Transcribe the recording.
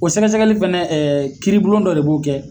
O sɛgɛsɛgɛli fɛnɛ kiiribolon dɔ de b'o kɛ.